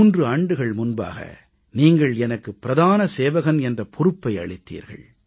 3 ஆண்டுகள் முன்பாக நீங்கள் எனக்கு பிரதான சேவகன் என்ற பொறுப்பை அளித்தீர்கள்